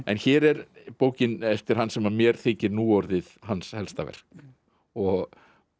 en hér er bókin eftir hann sem mér þykir nú orðið hans helsta verk og